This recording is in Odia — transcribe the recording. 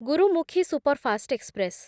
Gurmukhi Superfast express